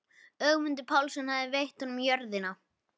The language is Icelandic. Ögmundur Pálsson hafði veitt honum jörðina.